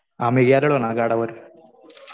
आम्ही गेलेलो ना गडावर.